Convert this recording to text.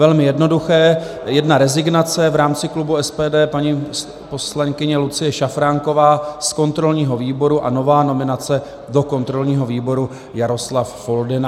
Velmi jednoduché, jedna rezignace v rámci klubu SPD, paní poslankyně Lucie Šafránková z kontrolního výboru, a nová nominace do kontrolního výboru, Jaroslav Foldyna.